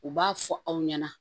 U b'a fɔ aw ɲɛna